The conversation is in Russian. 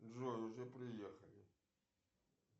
джой уже приехали